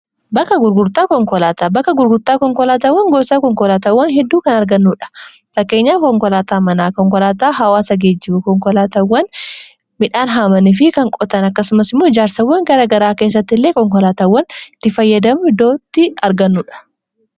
knoaata bakka gurgurtaa konkolaataawwan goosaa konkolaatawwan hedduu kan argannuudha fakkeenyaa konkolaataa manaa konkolaataa hawaasa geejibu konkolaataawwan midhaan haamani fi kan qotan akkasumasmoo ijaarsawwan garagaraa keessatti illee konkolaatawwan itti fayyadamu iddootti argannuudha